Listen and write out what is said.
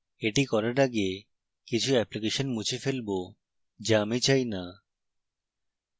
এটি করার আগে কিছু অ্যাপ্লিকেশন মুছে ফেলবো যা আমি চাই না